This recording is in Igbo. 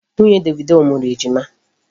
Nwunye Davido mụrụ Ejima.